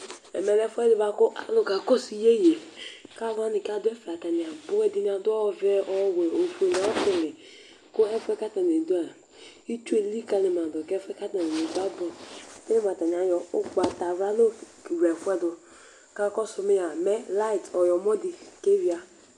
Ɛmɛ lɛ ɛfʋɛdɩ bʋa kʋ alʋ ka kɔsʋ iyeyeKalʋ wanɩ adʋ gbaka dza, alʋ wanɩ adʋ ɔvɛ, ofue, ɔwɛ kʋ ɛfʋɛ katanɩ dʋa